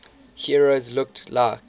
heroes looked like